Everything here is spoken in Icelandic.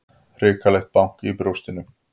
Hrikalegt bank í brjóstinu.